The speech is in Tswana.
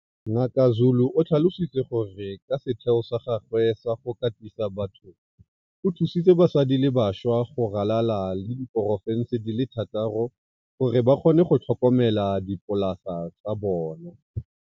Ngaka Zulu o tlhalositse gore ka setheo sa gagwe sa go katisa batho o thusitse basadi le bašwa go ralala le diporofense di le thataro gore ba kgone go tlhokomela dipolasa tsa bona.